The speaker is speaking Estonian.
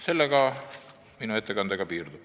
Sellega minu ettekanne piirdub.